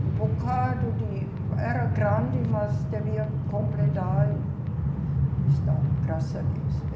Um bocado de, era grande, mas devia completar e está, graças a Deus.